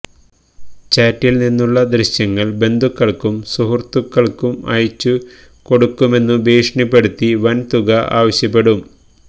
ചാറ്റിൽ നിന്നുള്ള ദൃശ്യങ്ങൾ ബന്ധുക്കൾക്കും സുഹൃത്തുക്കൾക്കും അയച്ചു കൊടുക്കുമെന്നു ഭീഷണിപ്പെടുത്തി വൻ തുക ആവശ്യപ്പെടും